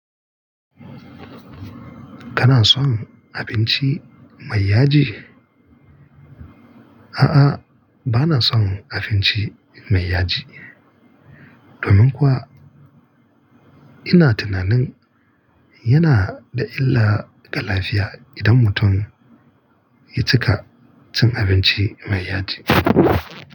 Kana son abinci mai yaji? A'a, ba na son abinci mai yaji. Domin kuwa ina tunanin yana da illa ga lafiya idan mutum ya cika cin abinci mai yaji.